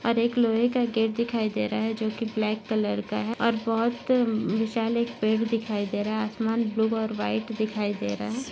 और एक लोहे का गेट दिखाई दे रहा है जो की ब्लॅक कलर का है और बहुत हम्म विशाल एक पेड़ दिखाई दे रहा है आसमान ब्लू और व्हाइट दिखाई दे रहा है।